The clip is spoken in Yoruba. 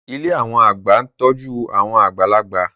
Ilé àwọn àgbà ń tọ́jú àwọn àgbàlagbà